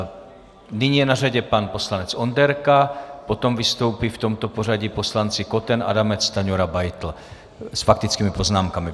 Nyní je na řadě pan poslanec Onderka, potom vystoupí v tomto pořadí poslanci Koten, Adamec, Stanjura, Beitl s faktickými poznámkami.